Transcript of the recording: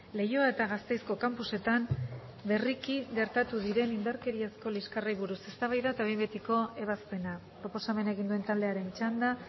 leioa eta gasteizko campusetan berriki gertatu diren indarkeriazko liskarrei buruz eztabaida eta behin betiko ebazpena proposamena egin duen taldearen txanda